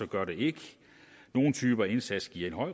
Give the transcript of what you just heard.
gør den ikke nogle typer indsats giver